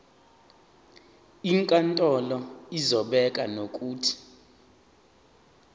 inkantolo izobeka nokuthi